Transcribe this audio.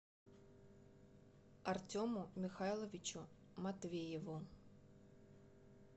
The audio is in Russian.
артему михайловичу матвееву